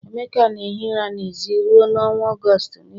Emeka na-ehi ụra n'èzí ruo n'ọnwa Ọgọst niile